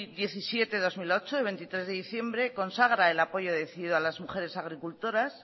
diecisiete barra dos mil ocho de veintitrés de diciembre consagra el apoyo decidido a las mujeres agricultoras